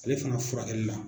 Ale fana furakɛli la